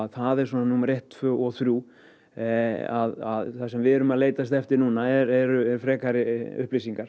það er svona númer eitt tvö og þrjú að það sem við erum að leitast eftir núna eru frekari upplýsingar